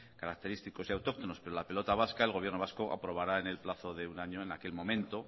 característicos y autóctonos pero la pelota vasca el gobierno vasco aprobará en el plazo de un año en aquel momento